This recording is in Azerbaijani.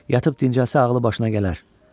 "Yatıb dincəlsə ağlı başına gələr.